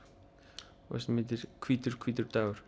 og heitir hvítur hvítur dagur